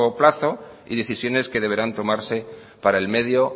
plazo y decisiones que deberán tomarse para el medio